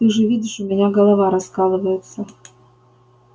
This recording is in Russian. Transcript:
ты же видишь у меня голова раскалывается